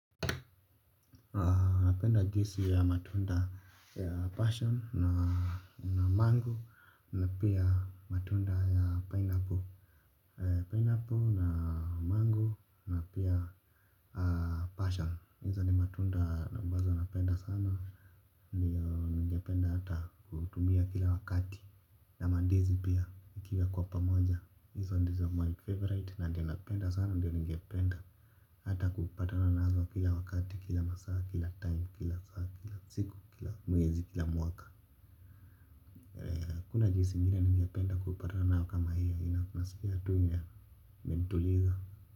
Na napenda juisi ya matunda ya passion na mango na piya matunda ya pineapple na mango na piya passion. Hizo ni matunda nambazo napenda sana niyo ningependa hata kutumia kila wakati na mandizi pia ikiwa kwa pamoja. Hizo ndizo my favorite na ndio napenda sana ndio ningependa hata kupatana nazo kila wakati kila masaa kila time kila siku. Kila mwaka hakuna jinsi ingine ningependa kupatana nayo kama hio hio unaskia tu ni ya kutuliza.